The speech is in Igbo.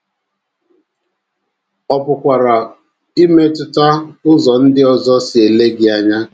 Ọ pụkwara imetụta ụzọ ndị ọzọ si ele gị anya.